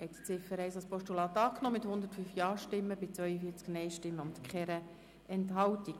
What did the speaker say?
Sie haben die Ziffer 1 als Postulat angenommen mit 105 Ja- zu 42 Nein-Stimmen, ohne Enthaltungen.